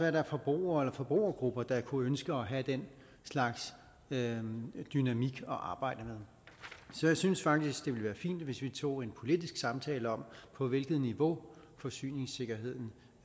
at der er forbrugere eller forbrugergrupper der kunne ønske at have den slags dynamik at arbejde med så jeg synes faktisk det være fint hvis vi tog en politisk samtale om på hvilket niveau forsyningssikkerheden